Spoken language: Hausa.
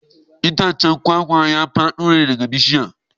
Mai tace giyan kwakwa ya fado daga bishiyar.